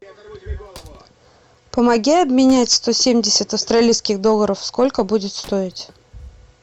помоги обменять сто семьдесят австралийских долларов сколько будет стоить